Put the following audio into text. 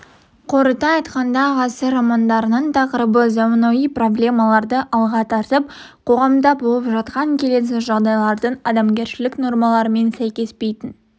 қорыта айтқанда ғасыр романдарының тақырыбы заманауи проблемаларды алға тартып қоғамда болып жатқан келеңсіз жағдайлардың адамгершілік нормаларымен сәйкеспейтін